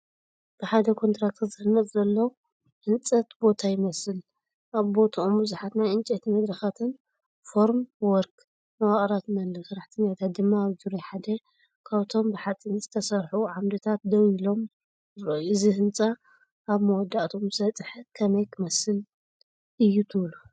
ብሓደ ኮንትራክተር ዝህነፅ ዘሎ ናይ ህንፀት ቦታ ይመስል። ኣብ ቦታኦም ብዙሓት ናይ ዕንጨይቲ መድረኻትን ፎርምዎርክ መዋቕራትን ኣለዉ፣ ሰራሕተኛታት ድማ ኣብ ዙርያሓደ ካብቶም ብሓጺን ዝተሰርሑ ዓምድታት ደው ኢሎም ይረኣዩ። እዚ ህንጻ ኣብ መወዳእታኡ ምስ በጽሐ ከመይ ክመስል እዩ ትብሉ?